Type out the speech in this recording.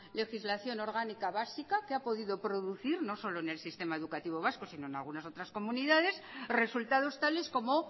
legislación orgánica básica que ha podido producir no solo en el sistema educativo vasco sino en algunas otras comunidades resultados tales como